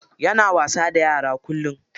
Yana wasa da yara kullum.